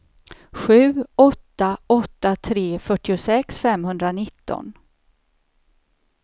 sju åtta åtta tre fyrtiosex femhundranitton